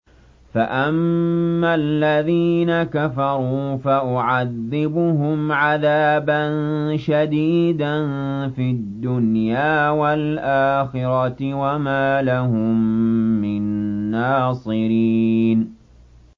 فَأَمَّا الَّذِينَ كَفَرُوا فَأُعَذِّبُهُمْ عَذَابًا شَدِيدًا فِي الدُّنْيَا وَالْآخِرَةِ وَمَا لَهُم مِّن نَّاصِرِينَ